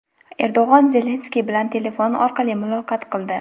Erdo‘g‘an Zelenskiy bilan telefon orqali muloqot qildi.